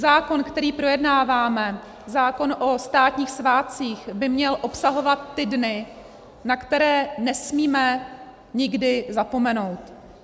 Zákon, který projednáváme, zákon o státních svátcích, by měl obsahovat ty dny, na které nesmíme nikdy zapomenout.